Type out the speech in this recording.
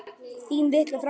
Þín litla frænka.